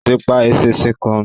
Ó ti pa eṣinṣin kan.